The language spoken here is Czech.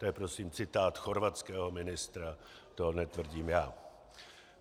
To je prosím citát chorvatského ministra, to netvrdím já.